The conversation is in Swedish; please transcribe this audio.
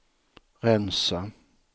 rensa